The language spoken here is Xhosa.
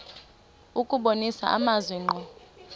kubonisa amazwi ngqo